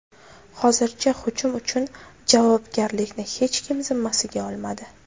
Hozircha hujum uchun javobgarlikni hech kim zimmasiga olmadi.